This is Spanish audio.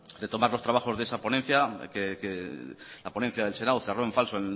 retomar los trabajos de esa ponencia que la ponencia del senado cerró en falso